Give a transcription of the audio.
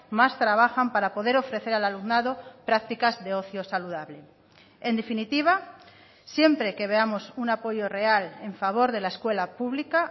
más trabajan para poder ofrecer al alumnado prácticas de ocio saludable en definitiva siempre que veamos un apoyo real en favor de la escuela pública